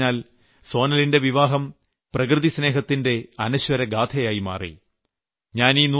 മറ്റൊരു രീതിയിൽ പറഞ്ഞാൽ സോനലിന്റെ വിവാഹം പ്രകൃതിസ്നേഹത്തിന്റെ അനശ്വരഗാഥയായി മാറി